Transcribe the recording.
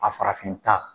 A farafinta